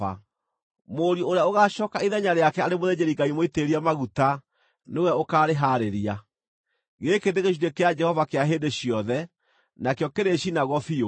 Mũriũ ũrĩa ũgaacooka ithenya rĩake arĩ mũthĩnjĩri-Ngai mũitĩrĩrie maguta nĩwe ũkaarĩhaarĩria. Gĩkĩ nĩ gĩcunjĩ kĩa Jehova kĩa hĩndĩ ciothe, nakĩo kĩrĩcinagwo biũ.